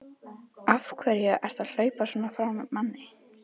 AF HVERJU ERTU AÐ HLAUPA SVONA FRÁ MANNI!